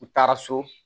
U taara so